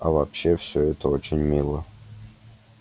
а вообще всё это очень мило